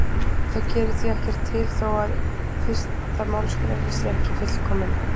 það gerir því ekkert til þó að fyrsta málsgreinin sé ekki fullkomin